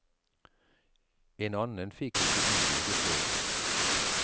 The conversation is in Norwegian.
En annen fikk ikke innvilget lån.